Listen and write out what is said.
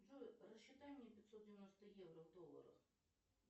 джой рассчитай мне пятьсот девяносто евро в долларах